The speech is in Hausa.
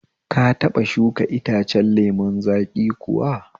Ka taɓa shuka itacen lemun zaƙi kuwa?